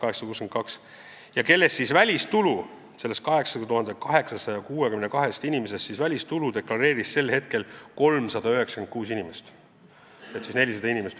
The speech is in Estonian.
Nendest 8862 inimesest deklareeris välistulu sel aastal 396 inimest ehk siis umbes 400 inimest.